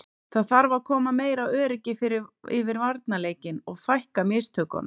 Það þarf að koma meira öryggi yfir varnarleikinn og fækka mistökunum.